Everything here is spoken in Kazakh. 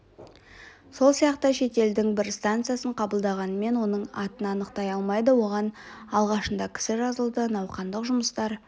сол сияқты шетелдің бір станциясын қабылдағанымен оның атын анықтай алмайды оған алғашында кісі жазылды науқандық жұмыстар